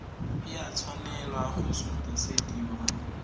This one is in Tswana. e a tshwanela go sutisediwa